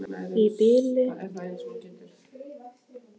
Í bili geturðu ekkert útskýrt fyrir henni, segi ég.